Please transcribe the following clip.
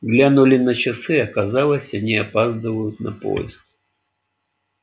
глянули на часы оказалось они опаздывают на поезд